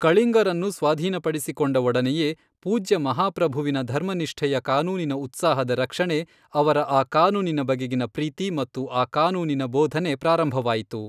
ಕಳಿಂಗರನ್ನು ಸ್ವಾಧೀನಪಡಿಸಿಕೊಂಡ ಒಡನೆಯೇ, ಪೂಜ್ಯ ಮಹಾಪ್ರಭುವಿನ ಧರ್ಮನಿಷ್ಠೆಯ ಕಾನೂನಿನ ಉತ್ಸಾಹದ ರಕ್ಷಣೆ, ಅವರ ಆ ಕಾನೂನಿನ ಬಗೆಗಿನ ಪ್ರೀತಿ ಮತ್ತು ಆ ಕಾನೂನಿನ ಬೋಧನೆ ಪ್ರಾರಂಭವಾಯಿತು.